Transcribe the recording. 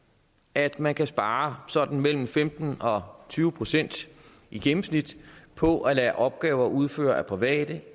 at man kan spare sådan mellem femten og tyve procent i gennemsnit på at lade opgaver udføres af private